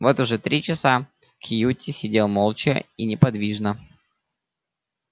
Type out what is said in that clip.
вот уже три часа кьюти сидел молча и неподвижно